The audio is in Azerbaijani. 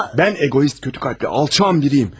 Mən eqoist, pis ürəkli, alçaq biriyəm.